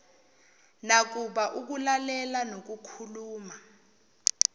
nakuba ukulalela nokukhuluma